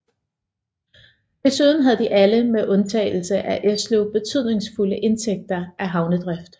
Desuden havde de alle med undtagelse af Esløv betydningsfulde indtægter af havnedrift